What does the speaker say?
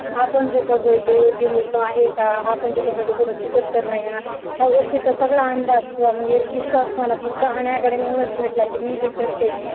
आपण जे करतोय तो योग्य लिहितो आहे का आपण जे करतो ते कुठे चुकत तर नाही ना या गोष्टीचा सगळा अंदाज किंवा म्हणजे एक विश्वास मला फक्त अन्याकडे म्हणूनच भेटला की मी जे करते